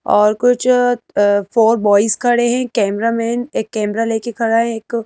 और कुछ four boys खड़े है कैमरामैन एक कैमरा ले कर खड़ा है। एक--